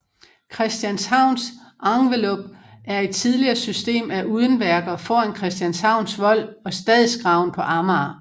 Christianshavns Enveloppe er et tidligere system af udenværker foran Christianshavns Vold og Stadsgraven på Amager